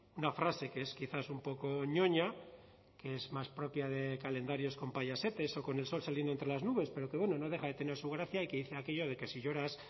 una frase que es quizás un poco ñoña que es más propia de calendarios con payasetes o con el sol saliendo entre las nubes pero que bueno no deja de tener su gracia y que dice aquello de que si lloras